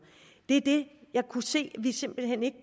det er det jeg kunne se vi simpelt hen ikke